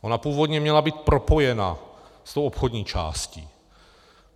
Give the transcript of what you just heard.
Ona původně měla být propojena s tou obchodní částí.